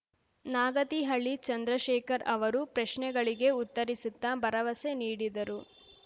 ನಾಗತಿಹಳ್ಳಿ ಚಂದ್ರಶೇಖರ್ ಅವರು ಪ್ರಶ್ನೆಗಳಿಗೆ ಉತ್ತರಿಸುತ್ತಾ ಭರವಸೆ ನೀಡಿದರು